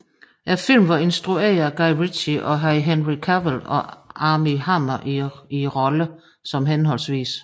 Filmen var instrueret af Guy Ritchie og havde Henry Cavill og Armie Hammer i rollerne som hhv